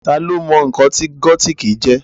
Tá lo mọ̀ nǹkan tí gótìkì jẹ́?